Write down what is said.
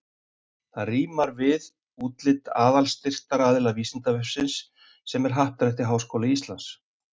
Það rímar við útlit aðalstyrktaraðila Vísindavefsins sem er Happdrætti Háskóla Íslands.